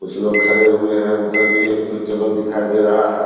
कुछ लोग खरे हुए है उधर भी एक टेबल दिखाई दे रहा है।